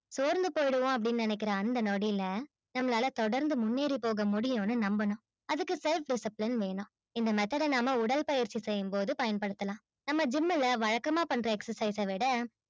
சோர்ந்து போய் விடுவோம் நினைக்குற அந்த நொடில நம்பளால தொடர்ந்து முன்னேறி போக முடியும்னு நம்பனும் அதுக்கு self disciplined வேணும் இந்த matter நம்ப உடற்பயிற்சி செய்யும் பொது பயன்படுத்தலாம் நம்ப gym வழக்கமா பண்ற exercise விட